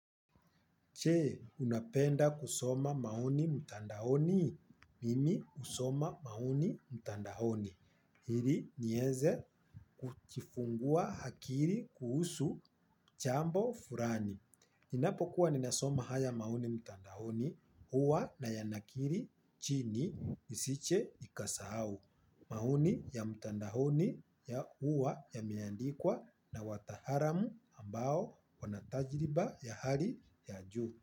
Je, unapenda kusoma maoni mitandaoni? Mimi husoma maoni mitandaoni. Ili nieze kujifungua akili kuhusu jambo fulani. Ninapokuwa ninasoma haya maoni mitandaoni huwa naya nakili chini nisije nikasahau. Maoni ya mitandaoni ya huwa yana andkikwa na wataalam ambao wanatajriba ya hali ya juu.